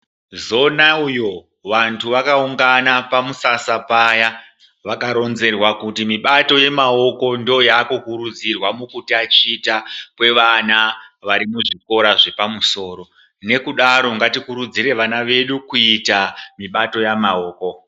Zona uyo vantu vakaungana pamusasa paya vakaronzerwa kuti mibato yemaoko ndooyaaku kurudzirwa mukutachita kwevana vari muzvikora zvepamusoro nekudaro ngatikurudzire vana vedu kuita mibato yamaoko.